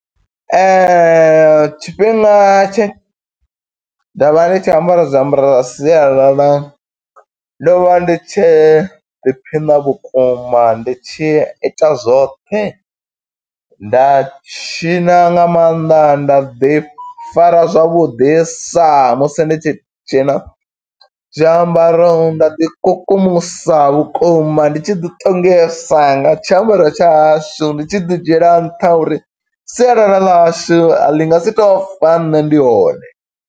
Tshifhinga tshe, nda vha ndi tshi ambara zwiambaro zwa sialala, ndo vha ndi tshi ḓiphiṋa vhukuma. Ndi tshi ita zwoṱhe, nda tshiṋa nga maanḓa, nda ḓi fara zwavhuḓisa, musi ndi tshi tshiṋa. Zwiambaro nda ḓi kukumusa vhukuma ndi tshi ḓi ṱongisa nga tshiambaro tsha hashu. Ndi tshi ḓi dzhiela nṱha, uri sialala ḽa hashu, a ḽi nga si to fa nṋe ndi hone.